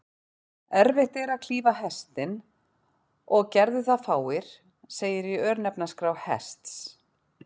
Erfitt er að klífa Hestinn, og gerðu það fáir, segir í örnefnaskrá Hests.